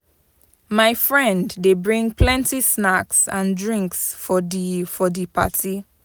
My friend dey bring plenty snacks and drinks for di for di party.